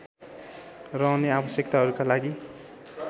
र अन्य आवश्यकताहरूका लागि